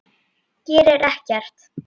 Gerir ekkert.